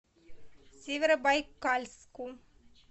северобайкальску